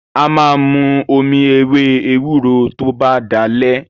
A máa mu omi ewé ewúro tó bá dalẹ́.